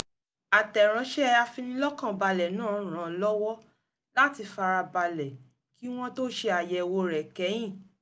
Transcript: àtẹ̀ránṣẹ́ afinilọ́kànbale náà ràn-án lọ́wọ́ láti farabalẹ̀ kí wọ́n tó ṣe àyẹ̀wò rẹ̀ kẹ́yìn